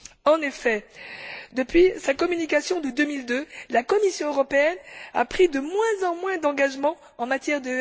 En effet, depuis sa communication de 2002, la Commission européenne a pris de moins en moins d'engagements en la matière.